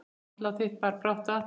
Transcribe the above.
Andlát þitt bar brátt að.